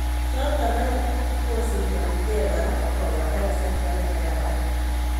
Choto aeng kosinfoni ge kora kopata kasarta nekararan.